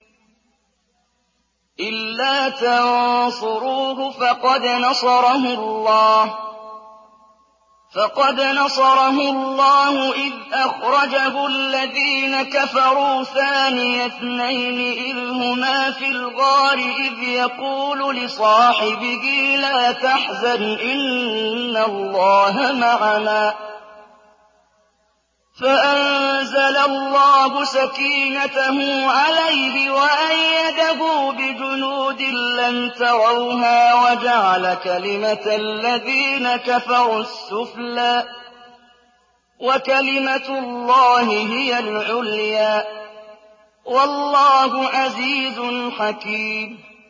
إِلَّا تَنصُرُوهُ فَقَدْ نَصَرَهُ اللَّهُ إِذْ أَخْرَجَهُ الَّذِينَ كَفَرُوا ثَانِيَ اثْنَيْنِ إِذْ هُمَا فِي الْغَارِ إِذْ يَقُولُ لِصَاحِبِهِ لَا تَحْزَنْ إِنَّ اللَّهَ مَعَنَا ۖ فَأَنزَلَ اللَّهُ سَكِينَتَهُ عَلَيْهِ وَأَيَّدَهُ بِجُنُودٍ لَّمْ تَرَوْهَا وَجَعَلَ كَلِمَةَ الَّذِينَ كَفَرُوا السُّفْلَىٰ ۗ وَكَلِمَةُ اللَّهِ هِيَ الْعُلْيَا ۗ وَاللَّهُ عَزِيزٌ حَكِيمٌ